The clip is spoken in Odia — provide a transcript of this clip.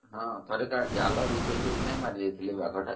ହଁ ଥରେ ଜାଲ ବିଛେଇକି ମାରିଦେଇଥିଲେ ବାଘ ଟା